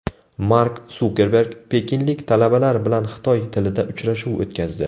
Mark Sukerberg pekinlik talabalar bilan xitoy tilida uchrashuv o‘tkazdi.